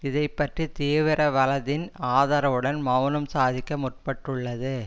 இதை பற்றி தீவிர வலதின் ஆதரவுடன் மெளனம் சாதிக்க முற்பட்டுள்ளது